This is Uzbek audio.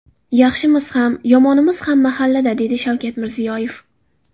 Yaxshimiz ham, yomonimiz ham mahallada”, – dedi Shavkat Mirziyoyev.